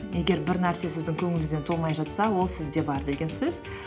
егер бір нәрсе сіздің көңіліңізден толмай жатса ол сізде бар деген сөз